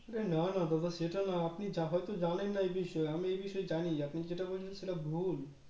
না না দাদা সেটা না আপনি হয়তো জানেন না এই বিষয়ে আমি এই বিষয়ে জানি আপনি যেটা বলছেন সেটা ভুল